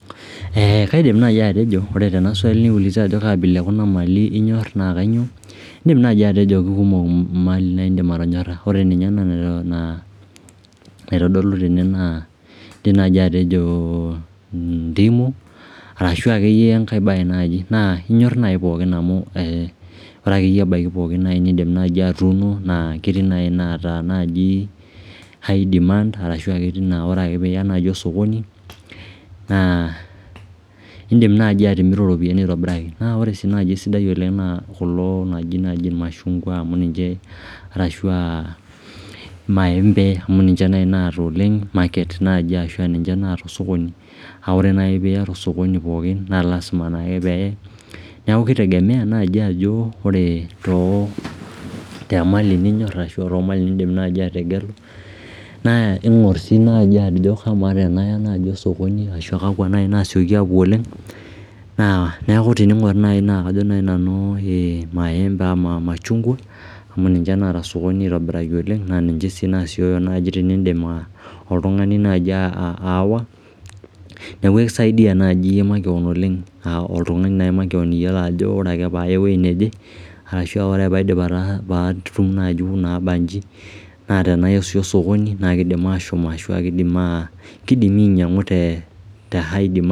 Kaidim nai atejo ore tena swali naiuliza ajo kaa abila e kuna mali inyor indim nai atejo kumok imali niidim atonyorha ore ninye ena naitodolu tene naa ndimu arashu akeyie enkae baye naaji naa inyor nai pookin amu ore akeyie ebaiki pookin nai nii'dim nai atuuno naa ketii inaata high demand arashu etii inaa ore piiya osokoni naa in'dim nai atimiru iropiani Naa ore nai esidai oleng naa kulo ooji ilmashungwa arashu aa ilmaembe amu keeta osokoni kake ore nai piiyata osokoni pooki naa lasima naake pee niaku kitegemea naji ake pee ore temali ninyor ashu oliindim nai ategelu naa iingur sii nai ajo kamaa tenaya naji osokoni naa kakwa nai nasioki apuo oleng' naa tininguari naai naa kajo nai nanu eeh ilmaembe ashu ilmashungwa amu ninche naata sokoni aitobiraki naa ninche naapuo naji teniindim oltung'ani nai aawa niaku ekisaidia nai iyie makewon oleng amu iyiolo ake ajo ore paaya ewuei neje ashu ore paatum naai inaabanji naa tenaya osokoni naa kiidim ashom naa kidimi ainang'u te